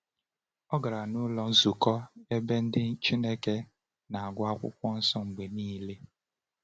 O gara n’ụlọ nzukọ, ebe ndị Chineke na-agụ Akwụkwọ Nsọ mgbe niile.